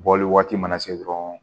Bɔli waati mana se dɔrɔn